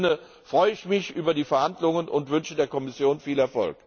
In diesem Sinne freue mich über die Verhandlungen und wünsche der Kommission viel Erfolg.